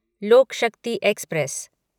लोक शक्ति एक्सप्रेस